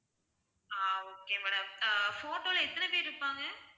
ஆஹ் okay madam ஆஹ் photo ல எத்தனை பேர் இருப்பாங்க